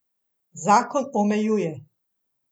Zakon omejuje.